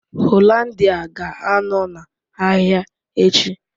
Hollandia ga-anọ na ahịa echi